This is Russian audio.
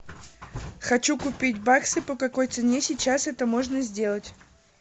хочу купить баксы по какой цене сейчас это можно сделать